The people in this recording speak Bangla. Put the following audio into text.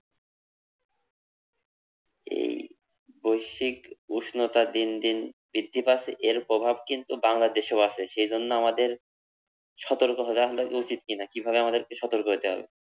এই বৈশ্বিক উষ্ণতা দিন দিন বৃদ্ধি পাচ্ছে এর প্রভাব কিন্তু বাংলাদেশেও আসে সেজন্য আমাদের সতর্ক হওয়া হলো উচিত কি না কিভাবে আমাদেকে সতর্ক হইতে হবে?